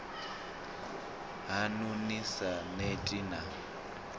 haṋu ni sa neti na